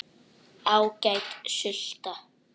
Ágæt sulta.